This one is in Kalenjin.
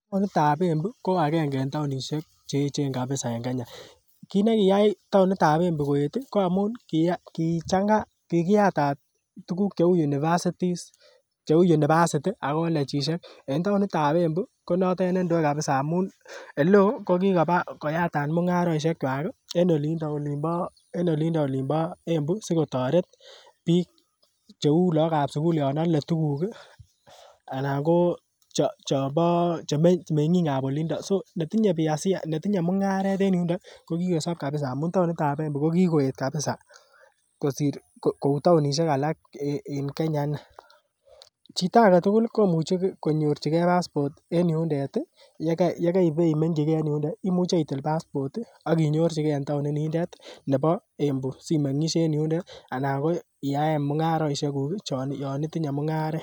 Taonitab Embu ko agenge en taonisiek che echen en emet ab Kenya kit nekiyai taonit ab Embu koeet ih ko amun kichang'a kikiyatat tuguk cheu universities cheu university ak colejisiek en taonit ab Embu ko notet nendoe kabisa amun eleoo kokikoba koyatat mung'arosiek kwak ih en olindo olin bo Embu sikotoret biik cheu lagok ab sugul yon ole tuguk ih alan ko chombo meng'ik ab olindo so netinye biashara netinye mung'aret kokikosob kabisa amun taonit ab Embu ko kikoeet kabisa kosir kou taonisiek alak en Kenya ini chito aketugul komuche konyorchigee passport en yundet ih yekeibemengkyi gee en yundo imuche itil passport ih ak inyorchigee en taonit nindet nebo Embu simeng'isyei en yundet anan ko iyaen mung'arosiek kuk ih yan itinye mung'aret